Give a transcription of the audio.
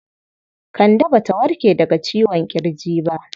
Kande Ba ta warke daga ciwon ƙirji ba.